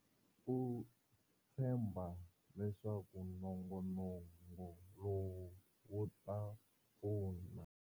U tshemba leswaku nongonoko lowu wu ta pfuna.